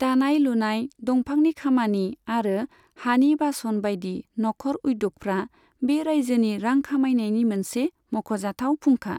दानाय लुनाय, दंफांनि खामानि आरो हानि बासन बायदि नखर उद्य'गफ्रा बे रायजोनि रां खामायनायनि मोनसे मख'जाथाव फुंखा।